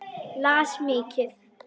Las mikið.